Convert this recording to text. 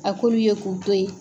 A k'olu ye k'u to ye.